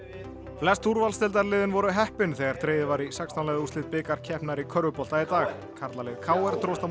úrvalsdeildarliðin voru heppin þegar dregið var í sextán liða úrslit bikarkeppninnar í körfubolta í dag karlalið k r dróst á móti